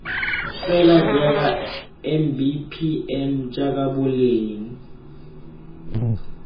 fela jaaka mbpm jaaka boleng